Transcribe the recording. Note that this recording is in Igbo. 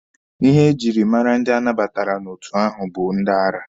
Ihe e jiri mara ndị anabatara n'otu ahụ bụ ndị ara.